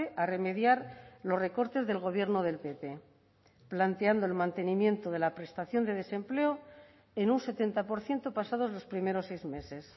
a remediar los recortes del gobierno del pp planteando el mantenimiento de la prestación de desempleo en un setenta por ciento pasados los primeros seis meses